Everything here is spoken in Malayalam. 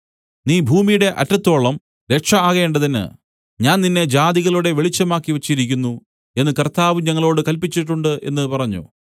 നീ ഭൂമിയുടെ അറ്റത്തോളവും രക്ഷ ആകേണ്ടതിന് ഞാൻ നിന്നെ ജാതികളുടെ വെളിച്ചമാക്കി വെച്ചിരിക്കുന്നു എന്നു കർത്താവ് ഞങ്ങളോടു കല്പിച്ചിട്ടുണ്ട് എന്നു പറഞ്ഞു